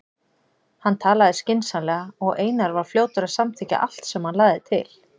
Hann talaði skynsamlega og Einar var fljótur að samþykkja allt sem hann lagði til.